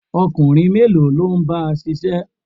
Ọkùnrin mélòó ló ń bá ṣiṣẹ́?